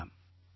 வணக்கம்